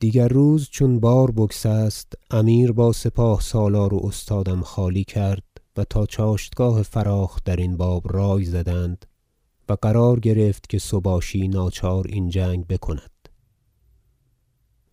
چنین گفت خواجه ابو الفضل دبیر مصنف کتاب که در آن مدت که سلطان مسعود بن محمود رحمة الله علیهما از هندوستان بغزنین رسید و آنجا روزی چند مقام بود که سوار سالار بوسهل بر درگاه برسید و آنچه رفته بود بمشافهه باز گفت و سلطان بتمامی بر آن واقف گشت و فرمانها بود جنگ مصاف کردن را پس روز یک شنبه بیست و یکم ماه رجب که بوسهل رسیده بود و بیاسوده دیگر روز چون بار بگسست امیر با سپاه سالار و استادم خالی کرد و تا چاشتگاه فراخ درین باب رای زدند و قرار گرفت که سباشی ناچار این جنگ بکند